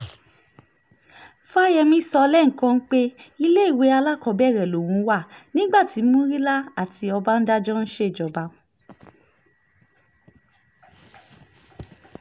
fáyẹ́mi sọ lẹ́ẹ̀kan pé iléèwé alákọ̀ọ́bẹ̀rẹ̀ lòun wà nígbà tí murila àti ọbadànjọ ń ṣèjọba